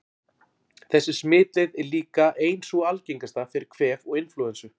Þessi smitleið er líka ein sú algengasta fyrir kvef og inflúensu.